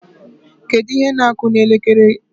Kedu ihe na-akụ n' elekere?